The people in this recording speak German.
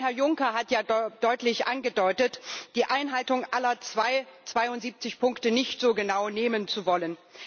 Denn Herr Juncker hat ja deutlich angedeutet, die Einhaltung aller 72 Punkte nicht so genau nehmen zu wollen.